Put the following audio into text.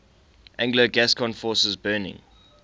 anglo gascon forces burning